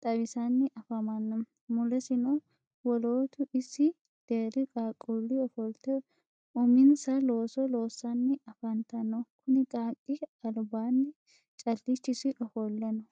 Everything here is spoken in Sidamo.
xawisanni afamanno. Mulesino wolootu isi deerri qaaqquulli ofolte uminsa looso loossanni afantanno. Kuni qaaqqi albaanni callichisi ofolle no.